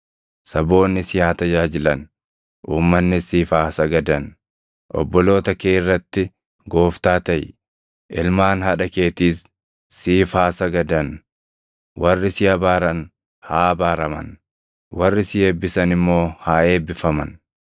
Saboonni si haa tajaajilan; uummannis siif haa sagadan. Obboloota kee irratti gooftaa taʼi; ilmaan haadha keetiis siif haa sagadan. Warri si abaaran haa abaaraman; warri si eebbisan immoo haa eebbifaman.”